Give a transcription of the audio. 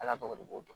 Ala tɔgɔ b'o dɔn